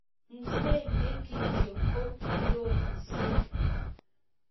Mzee ne kityo ko kirororisiek.